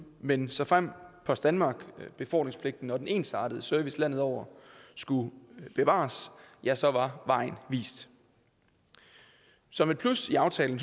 men såfremt post danmark befordringspligten og den ensartede service landet over skulle bevares ja så var vejen vist som et plus i aftalen